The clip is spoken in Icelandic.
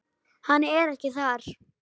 Hann er ekki þar.